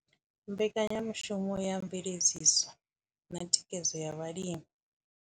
Mbekanyamushumo ya mveledziso na thikhedzo ya vhalimi.